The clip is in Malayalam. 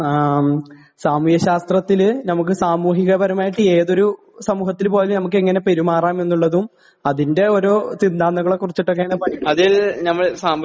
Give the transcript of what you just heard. സാമൂഹിക ശാസ്ത്രത്തില് നമുക്ക് സാമൂഹികപരമായിട്ട് ഏതൊരു സമൂഹത്തിൽ പോയാലും നമുക്ക് എങ്ങനെ പെരുമാറാം എന്നുള്ളതും അതിന്റെ ഓരോ സിദ്ധാന്തങ്ങളെക്കുറിറ്റുമൊക്കെയാണ് പഠിക്കുന്നത്..